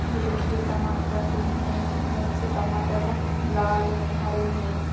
ये देखिये टमाटर रखें हुए हैं कितने अच्छे टमाटर रखें हुए हैं लाल हैं हरे हैं।